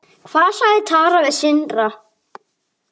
Hvað sagði Tara við Sindra?